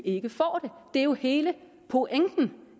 ikke får den det er jo hele pointen